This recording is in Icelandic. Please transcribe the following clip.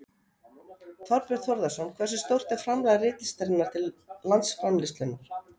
Þorbjörn Þórðarson: Hversu stórt er framlag ritlistarinnar til landsframleiðslunnar?